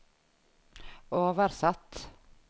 oversatt